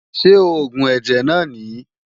Ṣé oògùn ẹ̀jẹ̀ náà nìí?